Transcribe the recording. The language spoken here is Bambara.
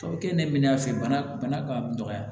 Tɔ bɛ kɛ ne minɛ fɛ bana ka dɔgɔya